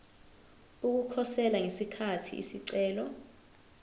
ukukhosela ngesikhathi isicelo